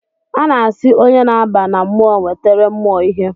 Ana asị onye na-aba na mmụọ nwetere mumụọ ihe